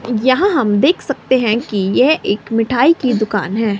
यहां हम देख सकते हैं कि यह एक मिठाई की दुकान है।